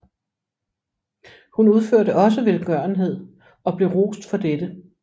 Hun udførte også velgørenhed og blev rost for dette